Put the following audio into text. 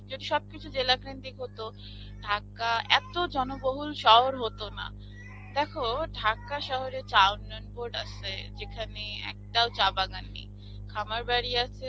যদি সবকিছু জেলা কেন্দ্রিক হতো, ঢাকা এতো জনবহুল শহর হতো না. দেখো, ঢাকা শহরে চা উন্নয়ন বোর্ড আসে, যেখানে একটাও চা বাগান নেই. খামারবাড়ি আছে,